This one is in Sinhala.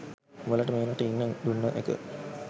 උඹලට මේ රටේ ඉන්න දුන්න එක